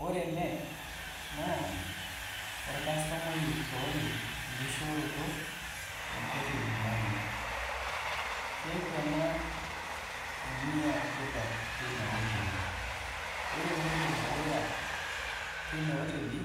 Wore ele, naa orkastomai oishooki enkishooroto enkoteli naje, keaku ena eniatipat tenia oteli? Wore entoki edukuya tenia oteli,